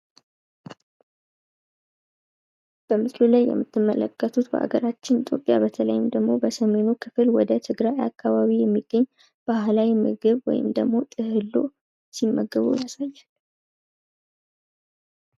በምስሉ ላይ የምንመለከተው በሀገራችን ኢትዮጵያ አብዛኛውን ወደ ሰሜኑ ክፍል ወደ ትግራይ አካባቢ የሚገኝ ባህላዊ ምግብ ወይም ጥህሉ ሲመገቡ እናያለን።